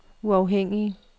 uafhængige